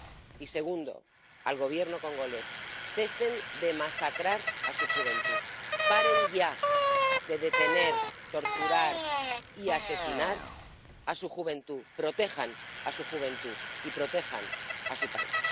Y, segundo, al Gobierno congoleño cesen de masacrar a su juventud, paren ya de detener, torturar y asesinar a su juventud, protejan a su juventud y protejan a su país.